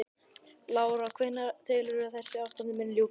Lára: Hvenær telurðu að þessu ástandi muni ljúka?